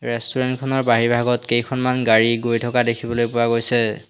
Restaurant খনৰ বাহিৰ ভাগত কেইখনমান গাড়ী গৈ থকা দেখিবলৈ পোৱা গৈছে।